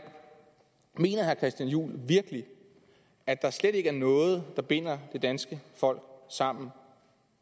mener herre christian juhl virkelig at der slet ikke er noget der binder det danske folk sammen